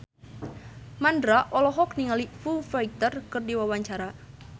Mandra olohok ningali Foo Fighter keur diwawancara